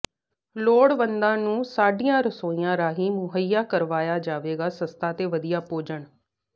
ਲੋੜਵੰਦਾਂ ਨੂੰ ਸਾਡੀਆਂ ਰਸੋਈਆਂ ਰਾਹੀ ਮੁਹੱਈਆ ਕਰਵਾਇਆ ਜਾਵੇਗਾ ਸਸਤਾ ਤੇ ਵਧੀਆ ਭੋਜਨ